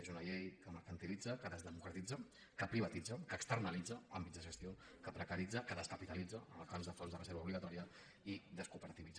és una llei que mercantilitza que desdemocratitza que privatitza que externalitza àmbits de gestió que precaritza que descapitalitza en el cas de fons de reserva obligatòria i descooperativitza